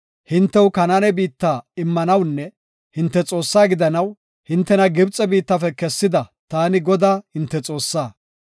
Hintew Kanaane biitta immanawunne hinte Xoossaa gidanaw, hintena Gibxe biittafe kessida, taani, Godaa hinte Xoossaa.